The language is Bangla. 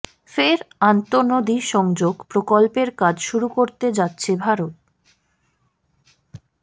ফের আন্তঃনদী সংযোগ প্রকল্পের কাজ শুরু করতে যাচ্ছে ভারত